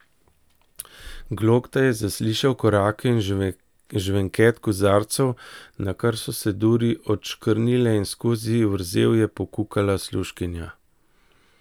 Glokta je zaslišal korake in žvenket kozarcev, nakar so se duri odškrnile in skozi vrzel je pokukala služkinja.